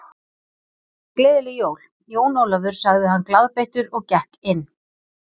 Gleðileg jól, Jón Ólafur sagði hann glaðbeittur og gekk inn.